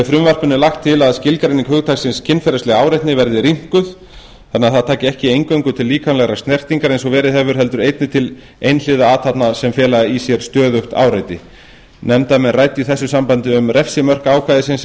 frumvarpinu er lagt til að skilgreining hugtaksins kynferðisleg áreitni verði rýmkuð þannig að það taki ekki eingöngu til líkamlegrar snertingar eins og verið hefur heldur einnig til einhliða athafna sem fela í sér stöðugt áreiti nefndarmenn ræddu í þessu sambandi um refsimörk ákvæðisins sem lagt